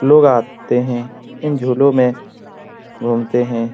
लोग आते हैं इन झूलों में घूमते हैं ।